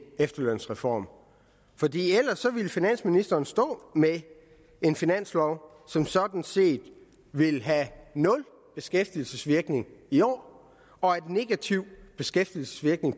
efterlønsreform fordi ellers ville finansministeren stå med en finanslov som sådan set ville have nul beskæftigelsesvirkning i år og en negativ beskæftigelsesvirkning